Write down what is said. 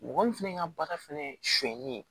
Mɔgɔ min fana ka baara fɛnɛ ye sonyali ye